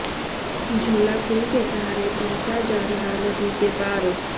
झूला पुल के सहारे पहुंचा जा रहा नदी के पार